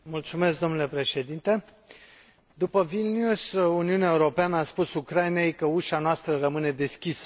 Domnule președinte, după Vilnius, Uniunea Europeană a spus Ucrainei că ușa noastră rămâne deschisă.